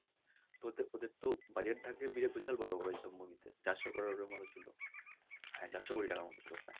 তো ওতে ওতে ওদের তো budget থাকে বিশাল বড় বড় এইসব movie তে চারশো corer এর মতো ছিল হ্যাঁ চারশো কোটি টাকার মতো ছিল প্রায়